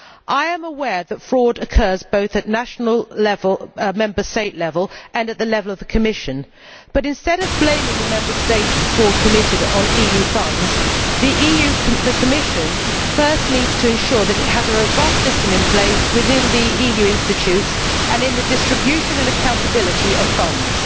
I am aware that fraud occurs, both at Member State level and at the level of the Commission, but instead of blaming the Member States for fraud committed on EU funds, the Commission first needs to ensure that it has a robust system in place within the EU institutions and in the distribution and accountability of funds.